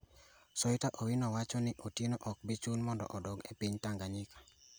Soita Owino wacho ni Otieno ok bi chun mondo odok e piny Tanganyika.